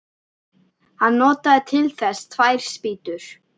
Hann notaði til þess tvær spýtur.